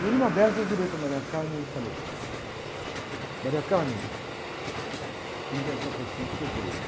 E numa dessas eu virei para a e falei, tenho que contar para você um segredo.